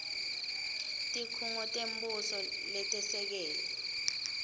tikhungo tembuso letesekele